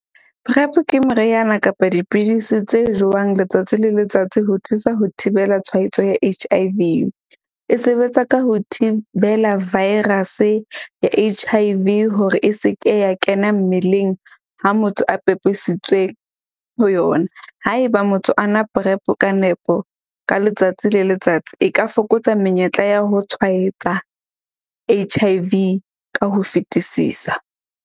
PrEP ke meriana kapa dipidisi tse jewang letsatsi le letsatsi ho thusa ho thibela tshwaetso ya H_I_V. E sebetsa ka ho thibela virus-e ya H_I_V hore e se ke ya kena mmeleng ha motho a pepisitswe ho yona. Haeba motho a nwa PrEP-o ka nepo ka letsatsi le letsatsi e ka fokotsa menyetla ya ho tshwaetsa H_I_V ka ho fetisisa.